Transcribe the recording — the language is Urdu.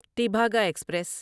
تیبھاگا ایکسپریس